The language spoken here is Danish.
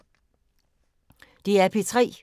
DR P3